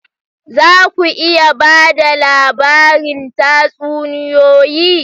Za ku iya ba da labarin tatsuniyoyi?